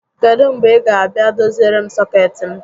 Kedụ mgbe ị ga abịa doziere m sọkeetị m?